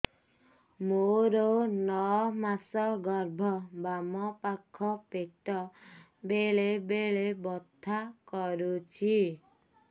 ମୋର ନଅ ମାସ ଗର୍ଭ ବାମ ପାଖ ପେଟ ବେଳେ ବେଳେ ବଥା କରୁଛି